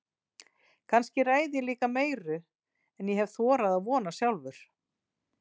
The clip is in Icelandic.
Kannski ræð ég líka meiru en ég hef þorað að vona sjálfur.